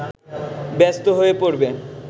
ব্যস্ত হয়ে পড়বে